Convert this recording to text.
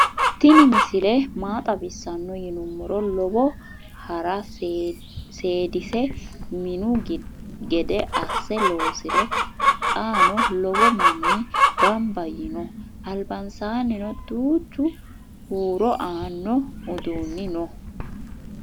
tinni misile maa xawisano yiinumoro. lowo haara sedise minu gede ase loosire xanoo loowo maani ganba yiino. albansanino duchu huro anno udunni noo.